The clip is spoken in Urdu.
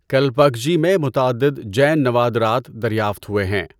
کلپاکجی میں متعدد جین نوادرات دریافت ہوئے ہیں۔